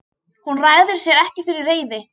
Hún ræður sér ekki fyrir reiði.